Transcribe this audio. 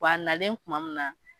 Bɔn a nalen kuma min na